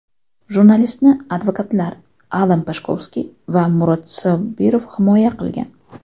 Jurnalistni advokatlar Allan Pashkovskiy va Murod Sobirov himoya qilgan.